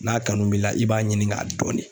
N'a kanu b'i la i b'a ɲini k'a dɔn de